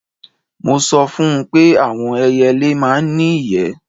Mo sọ fún un pé àwọn ẹyẹlé máa ń ní ìyẹ́